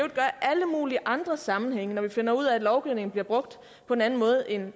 alle mulige andre sammenhænge når vi finder ud af at lovgivningen bliver brugt på en anden måde end